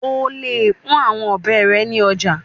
O le pọn awọn ọbẹ rẹ ni ọja